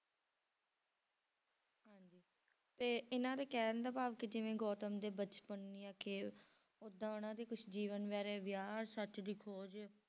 ਤੇ ਇਹਨਾਂ ਦੇ ਕਹਿਣ ਦਾ ਭਾਵ ਕਿ ਜਿਵੇਂ ਗੋਤਮ ਦੇ ਬਚਪਨ ਦੀਆਂ ਖੇਲ ਓਦਾਂ ਉਹਨਾਂ ਦੇ ਕੁਛ ਜੀਵਨ ਬਾਰੇ ਵਿਆਹ, ਸੱਚ ਦੀ ਖੋਜ।